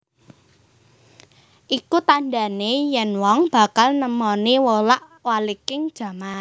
Iku tandhane yen wong bakal nemoni wolak waliking jaman